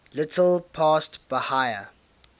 little past bahia